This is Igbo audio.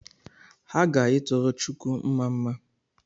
Ha ga-ituru chukwu mmamma